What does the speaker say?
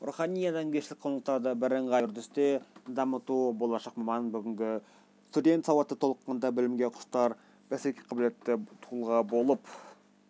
рухани-адамгершілік құндылықтарды бірыңғай үрдісте дамыту болашақ маман бүгінгі студент сауатты толыққанды білімге құштар бәсекеге қабілетті тұлға болып